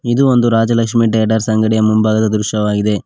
ಇದು ಒಂದು ರಾಜಲಷ್ಮಿ ಟೇಡರ್ಸ್ ಅಂಗಡಿಯ ಮುಂಭಾಗದ ದೃಶ್ಯವಾಗಿದೆ.